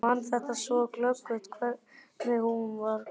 Ég man þetta svo glöggt, hvernig hún var klædd.